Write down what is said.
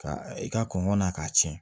Ka i ka kɔngɔ na k'a ci